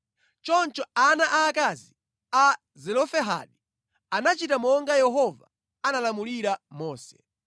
Choncho ana aakazi a Zelofehadi anachita monga Yehova analamulira Mose.